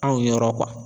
Anw yɔrɔ